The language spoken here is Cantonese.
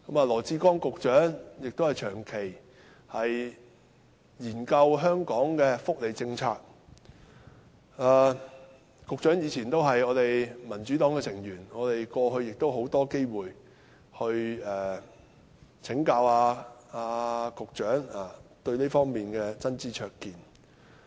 羅致光局長長期研究香港的福利政策，他以前也是民主黨成員，我們過去亦有很多機會請教局長對這方面的真知灼見。